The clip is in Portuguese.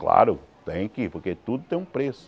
Claro, tem que, porque tudo tem um preço.